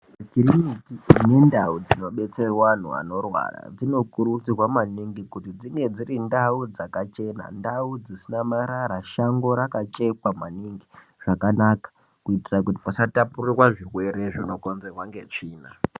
Kiriniki nendau dzinobetserwa anthu anorwara dzinokurudzirwa maningi kuti dzinge dziri ndau dzakachena, ndau dzisina marara, shango rakachekwa maningi zvakanaka, kuitira kuti pasatapurirwa zvirwere zvinokonzerwa ngetsvina.